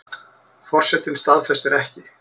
Forsetinn staðfestir ekki